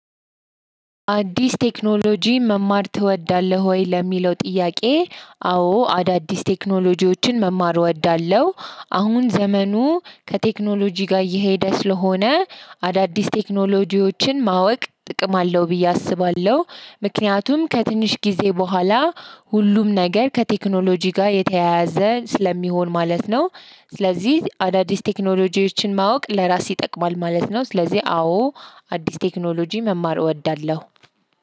አዲስ ቴክኖሎጂ መማር ትወዳለህ ወይ ለሚለው ጥያቄ? አዎ አዳዲስ ቴክኖሎጂዎችን መማር እወዳለሁ አሁን ዘመኑ ከቴክኖሎጂ ጋር እየሄደ ስለሆነ አዳዲስ ቴክኖሎጂዎችን ማወቅ ጥቅም አለው ብዬ አስባለሁ። ምክንያቱም ከትንሽ ጊዜ በኋላ ሁሉም ነገር ከቴክኖሎጂ ጋር የተያያዘ ስለሚሆን ማለት ነው። ስለዚህ አዳዲስ ቴክኖሎጂዎችን ማወቅ ለራስ ይጠቅማል ማለት ነው ስለዚህ አዎ። አዲስ ቴክኖሎጂ መማር እወዳለሁ።